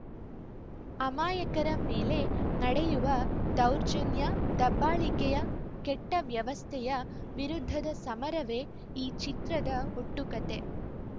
ಅಮಾಯಕರ ಮೇಲೆ ನಡೆಯುವ ದೌರ್ಜನ್ಯ ದಬ್ಬಾಳಿಕೆಯ ಕೆಟ್ಟವ್ಯವಸ್ಥೆಯ ವಿರುದ್ಧದ ಸಮರವೇ ಈ ಚಿತ್ರದ ಒಟ್ಟು ಕತೆ